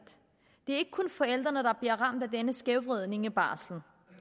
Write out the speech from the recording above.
ikke kun forældrene der bliver ramt af denne skævvridning af barslen